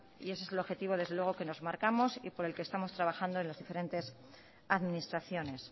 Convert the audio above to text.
y ese es el objetivo desde luego que nos marcamos y por el que estamos trabajando en las diferentes administraciones